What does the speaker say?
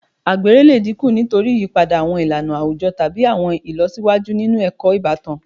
Àgbèrè lè dínkù nítorí ìyípadà àwọn ìlànà àwùjọ tàbí àwọn ìlọsíwájú nínú ẹ̀kọ́ ìbátan